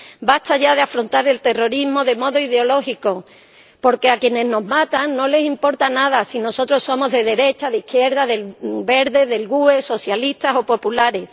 Basta ya de afrontar el terrorismo de modo ideológico, porque a quienes nos matan no les importa nada si nosotros somos de derechas, de izquierdas, verdes, del GUE, socialistas o populares.